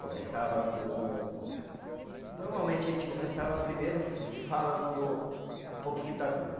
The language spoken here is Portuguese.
Começava com, normalmente a gente começava primeiro fa falando um pouquinho da Bíblia.